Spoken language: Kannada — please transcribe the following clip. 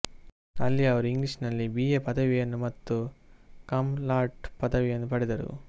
ಅಲ್ಲಿ ಅವರು ಇಂಗ್ಲೀಷ್ನಲ್ಲಿ ಬಿಎ ಪದವಿಯನ್ನು ಮತ್ತು ಕಮ್ ಲಾಡ್ ಪದವಿಯನ್ನು ಪಡೆದರು